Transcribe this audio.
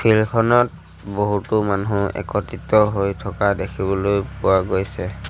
Field খনত বহুতো মানুহ একত্ৰিত হৈ থকা দেখিবলৈ পোৱা গৈছে।